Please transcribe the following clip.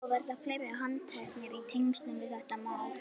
Og verða fleiri handteknir í tengslum við þetta mál?